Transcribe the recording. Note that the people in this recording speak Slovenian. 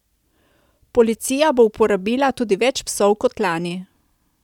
Policija bo uporabila tudi več psov kot lani.